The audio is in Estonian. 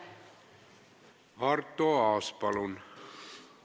Arto Aas, palun!